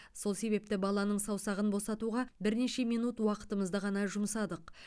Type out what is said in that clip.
сол себепті баланың саусағын босатуға бірнеше минут уақытымызды ғана жұмсадық